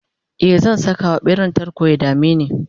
e zan Saka wa ɓeran tarko ya dameni